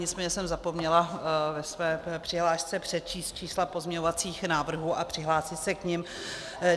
Nicméně jsem zapomněla ve své přihlášce přečíst čísla pozměňovacích návrhů a přihlásit se k nim.